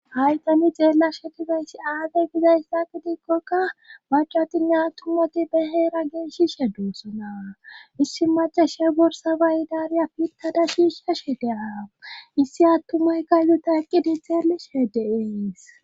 Hayssan xeelshe dizayssi aaze gizyassa gidikkoka maccatinne attumati be heera loythishe doosona issi maccasiya borssa mayidaara pittada shiishashe de7aws issi attumaykka izata eqqidi xeelishe de7ees.